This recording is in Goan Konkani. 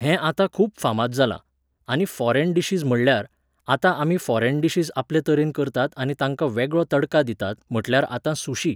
हें आतां खूब फामाद जालां. आनी फॉरेन डिशीज म्हणल्यार, आतां आमी फॉरेन डिशीज आपले तरेन करतात आनी तांकां वेगळो तडका दितात, म्हटल्यार आतां सुशी .